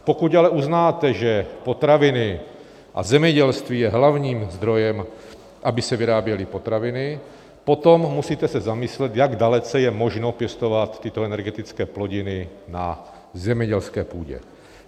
Pokud ale uznáte, že potraviny a zemědělství je hlavním zdrojem, aby se vyráběly potraviny, potom se musíte zamyslet, jak dalece je možno pěstovat tyto energetické plodiny na zemědělské půdě.